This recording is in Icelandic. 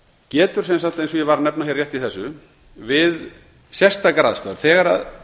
getur eins og ég var að nefna hér rétt í þessu við sérstakar aðstæður þegar